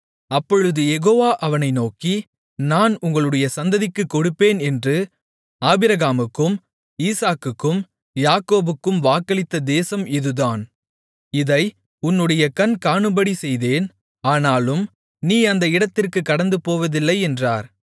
அப்பொழுது யெகோவா அவனை நோக்கி நான் உங்களுடைய சந்ததிக்குக் கொடுப்பேன் என்று ஆபிரகாமுக்கும் ஈசாக்குக்கும் யாக்கோபுக்கும் வாக்களித்த தேசம் இதுதான் இதை உன்னுடைய கண் காணும்படி செய்தேன் ஆனாலும் நீ அந்த இடத்திற்குக் கடந்துபோவதில்லை என்றார்